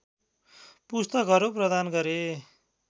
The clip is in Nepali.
पुस्तकहरू प्रदान गरे